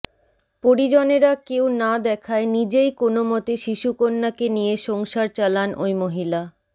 পরিজনেরা কেউ না দেখায় নিজেই কোনও মতে শিশুকন্যাকে নিয়ে সংসার চালান ওই মহিলা